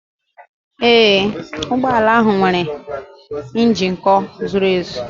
Ee, ụgbọ ala ahụ nwere ịnjektọ zuru ezu